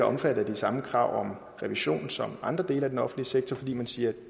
omfattet af de samme krav om revision som andre dele af den offentlige sektor fordi man siger at